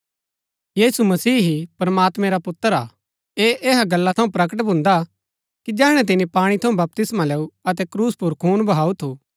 यीशु मसीह ही प्रमात्मैं रा पुत्र हा ऐह ऐहा गल्ला थऊँ प्रकट भून्दा कि जैहणै तिनी पाणी थऊँ बपतिस्मा लैऊ अतै क्रूस पुर खून बहाऊ थू